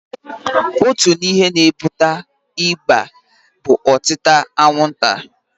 Otu n'ime ihe na-akpata ịba bụ otịta anwụnta.